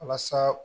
Walasa